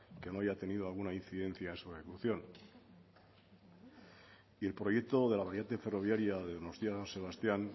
que no haya tenido alguna incidencia en su ejecución y el proyecto de la variante ferroviaria de donostia san sebastián